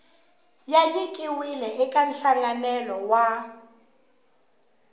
ya nyikiwile eka nhlanganelo wa